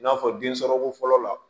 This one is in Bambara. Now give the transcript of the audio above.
I n'a fɔ densɔrɔko fɔlɔ la